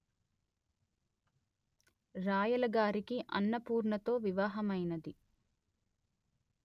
రాయలగారికి అన్నపూర్ణతో వివాహమైనది